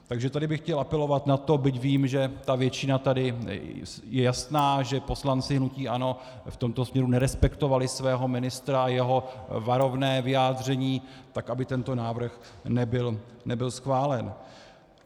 Takže tady bych chtěl apelovat na to, byť vím, že ta většina tady je jasná, že poslanci hnutí ANO v tomto směru nerespektovali svého ministra a jeho varovné vyjádření, tak aby tento návrh nebyl schválen.